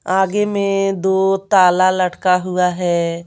आगे में दो ताला लटका हुआ है।